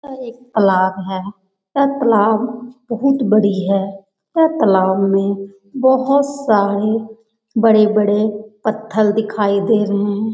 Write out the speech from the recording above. और एक तलाब है। यह तलाब बहुत बड़ी है। यह तलाब मे बोहोत सारी बड़े-बड़े पत्थर दिखाई दे रहे है।